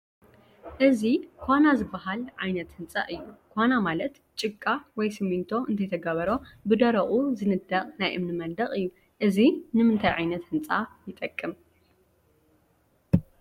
እዚ ዃና ዝበሃል ዓይነት ህንፃ እዩ፡፡ ዃና ማለት ጭቓ ወይ ስሚንቶ እንተይተገብሮ ብደረቑ ዝንደቕ ናይ እምኒ መንደቕ እዩ፡፡ እዚ ንምንታይ ዓይነት ህንፃ ይጠቅም?